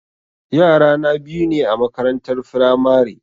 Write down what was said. Yara na biyu ne a makarantar firamare